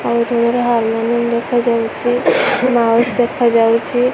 ଆଉ ଏଠି ଗୋଟେ ହାରମୋନିୟମ ଦେଖାଯାଉଚି ବାସ ଦେଖାଯାଉଚି।